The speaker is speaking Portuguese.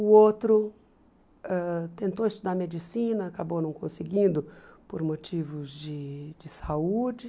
O outro ãh tentou estudar medicina, acabou não conseguindo por motivos de de saúde.